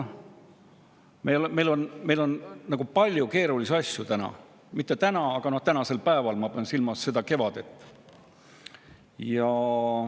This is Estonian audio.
Meil on palju keerulisi asju täna või tänasel päeval ees, ma pean silmas seda kevadet.